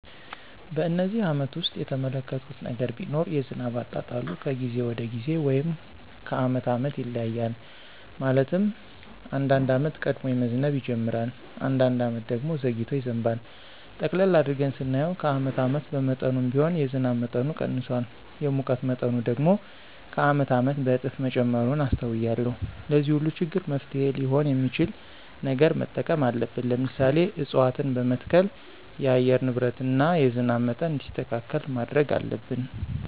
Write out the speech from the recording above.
በነዚህ አመታት ውስጥ የተመለከትሁት ነገር ቢኖር የዝናብ አጣጣሉ ከጊዜ ወደ ጊዜ ወይም ከአመት አመት ይለያያል። ማለትም አንዳንድ አመት ቀድሞ መዝነብ ይጅምራል። አንዳንድ አመት ደግሞ ዘግይቶ ይዘንባል። ጠቅለል አድርገን ስናየው ከአመት አመት በመጠኑም ቢሆን የዝናብ መጠኑ ቀንሷል። የሙቀት መጠኑ ደግሞ ከአመት አመት በእጥፍ መጨመሩን አስተውያለሁ። ለዚህ ሁሉ ችግር መፍትሔ ሊሆን የሚችል ነገር መጠቀም አለብን። ለምሳሌ፦ እፅዋትን በመትከል የአየር ንብረትን እና የዝናብ መጠን እንዲስተካከል ማድረግ አለብን።